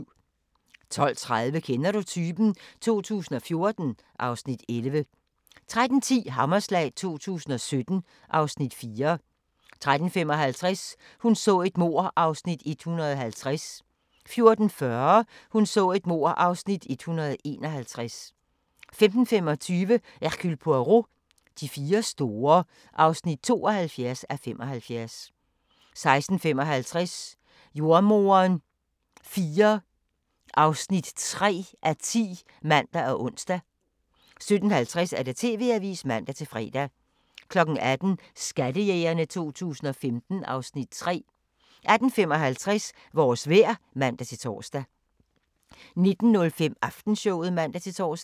12:30: Kender du typen? 2014 (Afs. 11) 13:10: Hammerslag 2017 (Afs. 4) 13:55: Hun så et mord (150:267) 14:40: Hun så et mord (151:267) 15:25: Hercule Poirot: De fire store (72:75) 16:55: Jordemoderen IV (3:10)(man og ons) 17:50: TV-avisen (man-fre) 18:00: Skattejægerne 2015 (Afs. 3) 18:55: Vores vejr (man-tor) 19:05: Aftenshowet (man-tor)